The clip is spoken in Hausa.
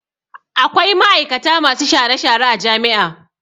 Akwai ma'aikata masu share-share a jami'a.